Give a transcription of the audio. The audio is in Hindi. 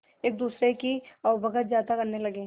एक दूसरे की आवभगत ज्यादा करने लगा